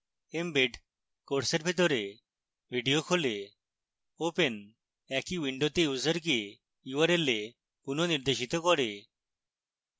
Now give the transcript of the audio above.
embed course এর ভিতরে video খোলে